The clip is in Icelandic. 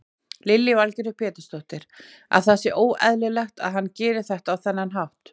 Lillý Valgerður Pétursdóttir: Að það sé óeðlilegt að hann geri þetta á þennan hátt?